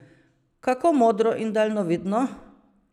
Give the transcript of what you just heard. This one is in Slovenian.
Kako modro in daljnovidno!